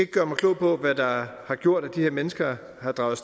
gøre mig klog på hvad der har gjort at de her mennesker er draget